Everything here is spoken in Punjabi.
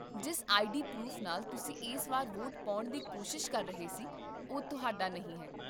ਜਿਸ ਆਈਡੀ ਪਰੂਫ ਨਾਲ ਤੁਸੀਂ ਇਸ ਵਾਰ ਵੋਟ ਪਾਉਣ ਦੀ ਕੋਸ਼ਿਸ਼ ਕਰ ਰਹੇ ਸੀ, ਉਹ ਤੁਹਾਡਾ ਨਹੀਂ ਹੈ